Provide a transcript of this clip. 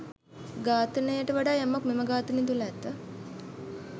ඝාතනයකට වඩා යමක් මෙම ඝාතනය තුල ඇත.